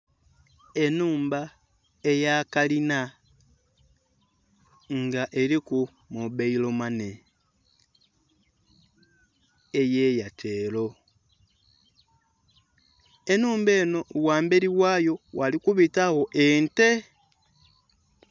Ennhumba eya kalina nga eliku mobile money eya Airtel, enhumba enho ghambeli ghayo ghali kubitagho ente.